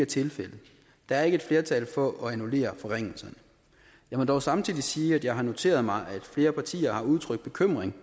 tilfældet der er ikke et flertal for at annullere forringelserne jeg må dog samtidig sige at jeg har noteret mig at flere partier har udtrykt bekymring